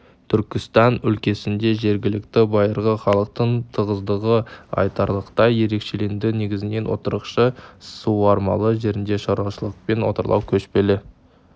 түркістан өлкесінде жергілікті байырғы халықтың тығыздығы айтарлықтай ерекшеленеді негізінен отырықшы суармалы жерінде шаруашылығымен отарлау көшпелі